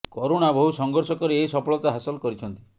କରୁଣା ବହୁ ସଂଘର୍ଷ କରି ଏହି ସଫଳତା ହାସଲ କରିଛନ୍ତି